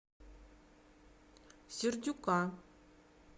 сердюка